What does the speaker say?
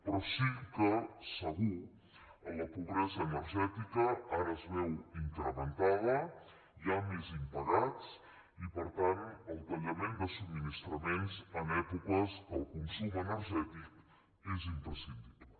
però sí que segur la pobresa energètica ara es veu incrementada hi ha més impagats i per tant el tallament de subministra·ments en èpoques que el consum energètic és impres·cindible